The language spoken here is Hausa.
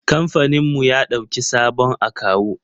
Kamfaninmu ya ɗauki sabon akawu.